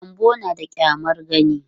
Gyanbo na da ƙyamar gani.